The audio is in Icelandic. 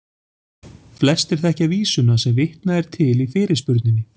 Flestir þekkja vísuna sem vitnað er til í fyrirspurninni.